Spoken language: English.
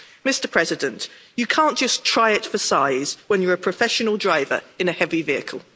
Mr President, you can't just try it for size when you're a professional driver in a heavy vehicle.